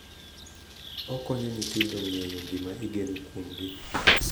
Okonyo nyithindo ng’eyo gima igeno kuomgi,